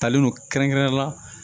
Talen don kɛrɛnkɛrɛnnenya la